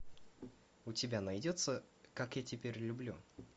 у тебя найдется как я теперь люблю